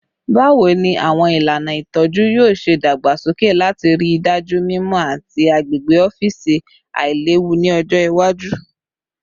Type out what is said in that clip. Bawo ni awọn ilana itọju yoo ṣe dagbasoke lati rii daju mimọ ati agbegbe ọfiisi ailewu ni ọjọ iwaju?